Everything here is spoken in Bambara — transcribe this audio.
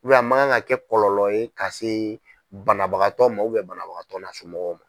a makan ka kɛ kɔlɔlɔ ye ka se banabagatɔ ma banabagatɔ n'a mɔgɔw ma.